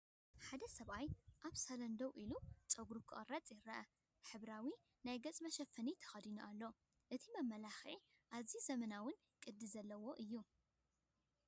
ሓደ ሰብኣይ ኣብ ሳሎን ደው ኢሉ ጸጉሩ ክቖርጽ ይርአ። ሕብራዊ ናይ ገጽ መሸፈኒ ተኸዲኑ ኣሎ። እቲ መመላኽዒ ኣዝዩ ዘመናውን ቅዲ ዘለዎን እዩ!